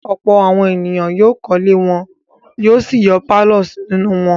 Ọ̀pọ̀ àwọn ènìyàn yóò kọ́lé wọn yóò sì yọ pálọ̀ nínú wọn.